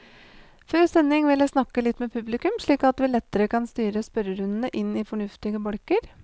Før sending vil jeg snakke litt med publikum, slik at vi lettere kan styre spørrerundene inn i fornuftige bolker.